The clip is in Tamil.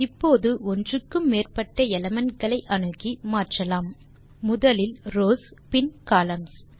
இப்போது ஒன்றுக்கு மேற்பட்ட எலிமெண்ட் களை அணுகி மாற்றலாம் முதலில் ரவ்ஸ் பின் கொலம்ன்ஸ்